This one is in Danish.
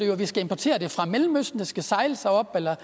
jo at vi skal importere det fra mellemøsten det skal sejles herop eller